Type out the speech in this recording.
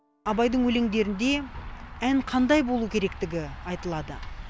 абайдың өлеңдерінде ән қандай болу керектігі айтылады